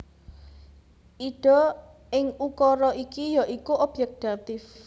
Ida ing ukara iki ya iku obyèk datif